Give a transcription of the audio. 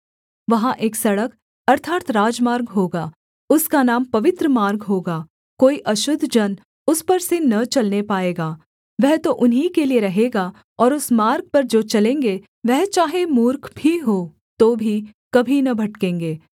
वहाँ एक सड़क अर्थात् राजमार्ग होगा उसका नाम पवित्र मार्ग होगा कोई अशुद्ध जन उस पर से न चलने पाएगा वह तो उन्हीं के लिये रहेगा और उस मार्ग पर जो चलेंगे वह चाहे मूर्ख भी हों तो भी कभी न भटकेंगे